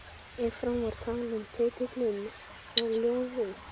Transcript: Ef frá var talinn titillinn á ljóði